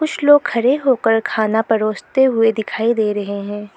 कुछ लोग खड़े होकर खाना परोसते हुए दिखाई दे रहे हैं।